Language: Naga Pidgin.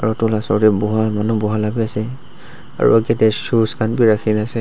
edu la osor tae buha manu buha la bi ase aro kitae shoes khan bi rakhina ase.